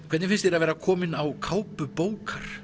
hvernig finnst þér að vera komin á kápu bókar